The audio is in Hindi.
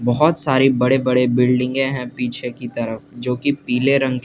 बहुत सारे बड़ी बड़ी बिल्डिंगे हैं पीछे की तरफ जो की पीले रंग के --